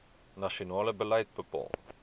nasionale beleid bepaal